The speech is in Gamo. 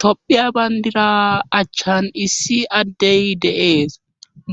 Tophiya bandira achchan issi addey deees